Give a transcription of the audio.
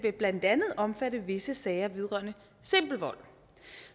blandt andet vil omfatte visse sager vedrørende simpel vold